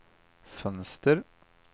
fönster